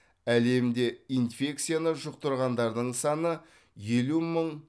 әлемде инфекцияны жұқтырғандардың саны елу мың